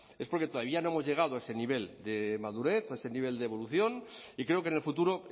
es porque todavía no hemos llegado a ese nivel de madurez o a ese nivel de evolución y creo que en el futuro